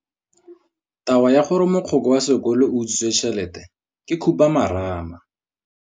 Taba ya gore mogokgo wa sekolo o utswitse tšhelete ke khupamarama.